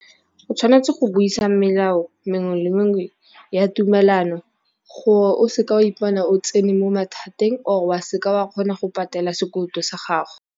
O tshwanetse go buisa melao mengwe le mengwe ya tumelano gore, o se ke wa ipona o tsene mo mathateng or wa se ka wa kgona go patela sekoloto sa gago.